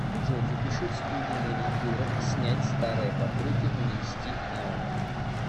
джой запиши в студию маникюра снять старое покрытие и нанести новое